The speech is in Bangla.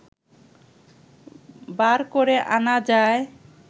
বার করে আনা যায়